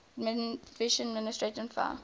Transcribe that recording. aviation administration faa